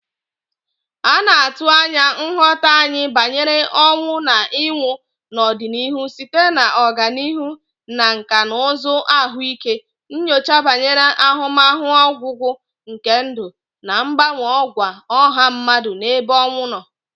A na-atụ anya nghọta anyị banyere ọnwụ na ịnwụ n'ọdịnihu site na ọganihu na nkà na ụzụ ahụike, nyocha banyere ahụmahụ ọgwụgwụ nke ndụ, na mgbanwe àgwà ọha mmadụ n'ebe ọnwụ nọ